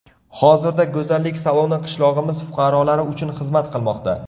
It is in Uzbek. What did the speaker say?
Hozirda go‘zallik saloni qishlog‘imiz fuqarolari uchun xizmat qilmoqda.